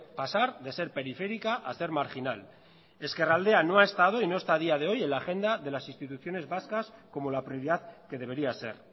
pasar de ser periférica a ser marginal ezkerraldea no ha estado y no está a día de hoy en la agenda de las instituciones vascas como la prioridad que debería ser